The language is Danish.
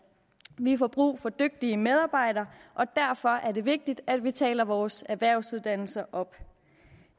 vi får brug for dygtige medarbejdere og derfor er det vigtigt at vi taler vores erhvervsuddannelser op